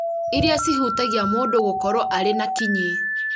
iria cihutagia mũndũ gũkorwo arĩ na kinyi